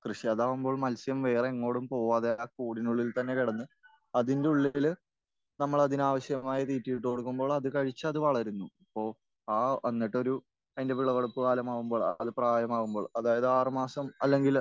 കൃഷി. അതാകുമ്പോൽ മത്സ്യം വേറെ എങ്ങോടും പോകാതെ ആ കൂടിനുള്ളിൽ തന്നെ കിടന്ന് അതിന്റെ ഉള്ളിൽ നമ്മൾ അതിന് ആവശ്യമായ തീറ്റയിട്ട് കൊടുക്കുമ്പോൾ അത് കഴിച്ചത് വളരുന്നു. ഇപ്പോൾ ആ എന്നിട്ടൊരു അതിന്റെ വിളവെടുപ്പ് കാലമാകുമ്പോൾ അത് പ്രായമാകുമ്പോൾ അതായത് ആറ് മാസം അല്ലെങ്കിൽ